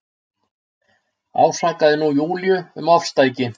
Ásakaði nú Júlíu um ofstæki.